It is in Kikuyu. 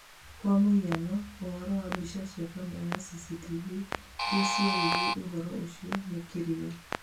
kwa mũhano, ũhoro wa mbica cia kamera ya CCTV iria cioire ũhoro ũcio nĩ kĩrĩga